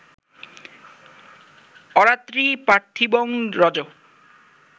আরাত্রি পার্থিবং রজঃ